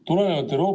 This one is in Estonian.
Hea Riigikogu esimees!